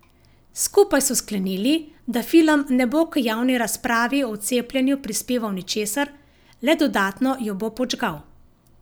Skupaj so sklenili, da film ne bo k javni razpravi o cepljenju prispeval ničesar, le dodatno jo bo podžgal.